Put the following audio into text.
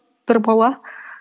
бір бала